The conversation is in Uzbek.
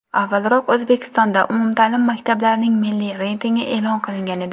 Avvalroq O‘zbekistonda umumta’lim maktablarning milliy reytingi e’lon qilingan edi .